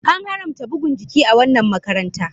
An haramta bugun jiki a wannan makaranta.